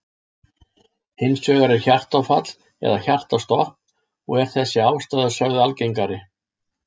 Hins vegar er hjartaáfall eða hjartastopp og er þessi ástæða sögð algengari.